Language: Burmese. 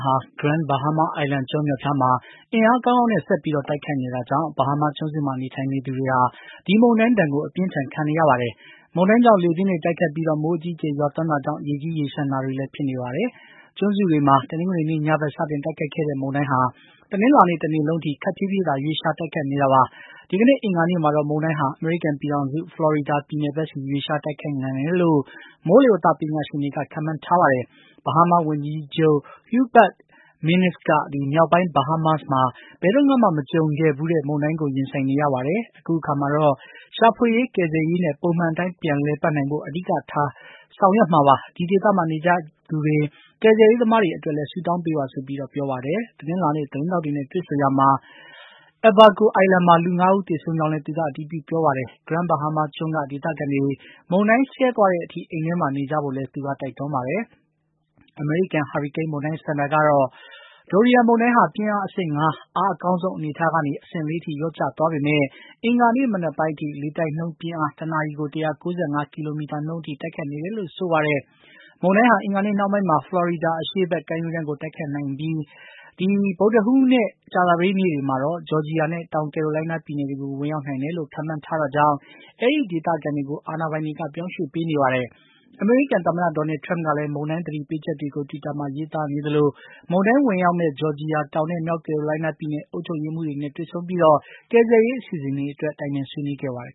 ဟာ Grand Bahama Island ကျွန်းမြောက်ဖျားမှာ အင်အားကောင်းကောင်းနဲ့ ဆက်ပြီး တိုက်ခတ်နေတာကြောင့် ဘဟားမားကျွန်းစုမှာ နေထိုင်သူတွေဟာ ဒီမုန်တိုင်း ဒဏ်ကို အပြင်းအထန်ခံနေရပါတယ်။ မုန်တိုင်းကြောင့် လေပြင်းတွေတိုက်ခတ်ပြီး မိုးအကြီးအကျယ်ရွာသွန်းတာကြောင့် ရေကြီးရေလျှံတာတွေလည်း ဖြစ်နေပါတယ်။ ကျွန်းစုတွေမှာ တနင်္ဂနွေနေ့ညဘက် စတင်တိုက်ခတ်ခဲ့တဲ့ မုန်တိုင်းဟာ တနင်းလာနေ့တနေ့လုံးထိ ခပ်ဖြေးဖြေးသာ ရွေးလျားတိုက်ခတ်နေတာပါ။ ဒီကနေ့ အင်္ဂါနေ့မှာတော့ မုန်တိုင်းဟာ အမေရိကန်ပြည်ထောင်စု ဖလော်ရီဒါပြည်နယ်ဘက်စီ ရွေးလျားတိုက်ခတ်နိုင်တယ်လို့ မိုးလေဝသပညာရှင်တွေက ခန့်မှန်းထားပါတယ်။ ဘဟားမားဝန်ကြီးချုပ် Hubert Minnis က မြောက်ပိုင်း ဗဟားမားစ်မှာ ဘယ်တုန်းကမှ မကြုံခဲ့ဘူးတဲ့ မုန်တိုင်းကို ရင်ဆိုင်နေရပါတယ်။ အခုအခါမှာတော့ ရှာဖွေရေး ကယ်ဆယ်ရေးနဲ့ ပုံမှန်အတိုင်း ပြန်လည်ပတ်နိုင်ဖို့ အဓိကထား ဆောင်ရွက်မှာပါ။ ဒီဒေသမှာ နေထိုင်ကြသူတွေ၊ ကယ်ဆယ်ရေးသမားတွေအတွက်လည်း ဆုတောင်းပေးပါဆိုပြီး ပြောပါတယ်။ တနင်းလာနေ့ သတင်းထောက်တွေနဲ့ တွေ့ဆုံရာမှာ Abaco Island မှာ လူ ၅ ဦးသေဆုံးကြောင်းလည်း သူက အတည်ပြု ပြောပါတယ်။ Grand Bahama ကျွန်းကဒေသခံတွေ မုန်တိုင်းဆဲသွားတဲ့အထိ အိမ်ထဲမှာ နေကြဖို့လည်း တိုက်တွန်းပါတယ်။ အမေရိကန်ဟာရီကိန်းမုန်းတိုင်းစင်တာ ကတော့ Dorian မုန်တိုင်းဟာ ပြင်းအား အဆင့် ၅ အားအကောင်းဆုံးအနေအထားကနေ အဆင့် ၄ ထိ လျော့ကျသွားပေမယ့် အင်္ဂါနေ့ မနက်ပိုင်းအထိ လေတိုက်နှုန်းပြင်းအား တနာရီကို ၁၉၅ ကီလိုမီတာနှုန်းအထိ တိုက်ခတ်နေတယ်လို့ ဆိုပါတယ်။ မုန်တိုင်းဟာ အင်္ဂါနေ့နှောင်းပိုင်းမှာ ဖလော်ရီဒါအရှေ့ဖက် ကမ်းရိုးတန်းကို တိုက်ခတ်နိုင်ပြီး ဗုဒ္ဓဟူးနဲ့ ကြာသပတေးနေ့တွေမှာတော့ ဂျော်ဂျီယာနဲ့ တောင်ကယ်ရိုလိုင်းနားပြည်နယ်တွေကို ဝင်ရောက်နိုင်တယ်လို့ ခန့်မှန်းထားတာကြောင့် အဲဒီဒေသခံတွေကို အာဏာပိုင်တွေက ပြောင်းရွှေ့ပေးနေပါတယ်။ အမေရိကန်သမ္မတ Donald Trump ကလည်း မုန်တိုင်း သတိပေးချက်တွေကို Twitter မှာ ရေးသားနေသလို မုန်တိုင်းဝင်ရောက်မယ့် ဂျော်ဂျီယာ၊ တောင်နဲ့ မြောက်ကယ်ရိုလိုင်းနားပြည်နယ် အုပ်ချုပ်ရေးမှူးတွေနဲ့ တွေ့ဆုံပြီး ကယ်ဆယ်ရေးအစီအစဉ်တွေအတွက် တိုင်ပင်ဆွေးနွေးခဲ့ပါတယ်